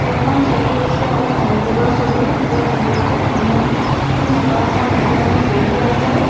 এইখন ছবি হৈছে এটা মন্দিৰৰ ছবি য'ত বহুটো মানুহ মতা মানুহ মাইকী মানুহ বহি আছে।